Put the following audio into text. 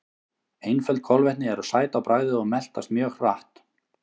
Einföld kolvetni eru sæt á bragðið og meltast mjög hratt.